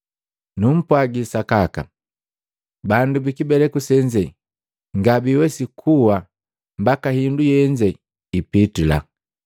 Numpwagi sakaka, bandu bikibeleku senze ngabiwesi kuwa mbaka hindu yenze ipitila.